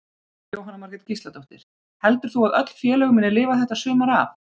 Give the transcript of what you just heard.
Jóhanna Margrét Gísladóttir: Heldur þú að öll félög muni lifa þetta sumar af?